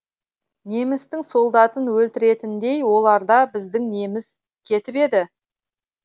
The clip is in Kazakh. немістің солдатын өлтіретіндей оларда біздің неміз кетіп еді